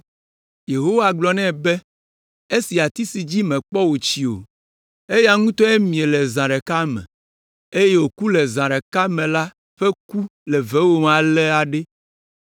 Yehowa gblɔ nɛ be, “Esi ati si dzi mèkpɔ wòtsi o, eya ŋutɔe mie le zã ɖeka me, eye wòku le zã ɖeka me la ƒe ku le vewòm ale ɖe,